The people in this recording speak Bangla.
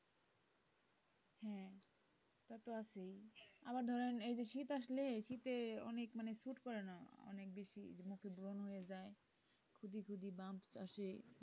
হ্যাঁ তা তো আছেই আবার ধরেন শীত অনেক মানে suite করে না অনেক বেশি মুখে ব্রণ হয়ে যায় খুদি খুদি আসে।